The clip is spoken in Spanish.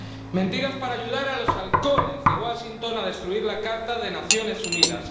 Mentiras para ayudar a los halcones de Washington a destruir la Carta de las Naciones Unidas.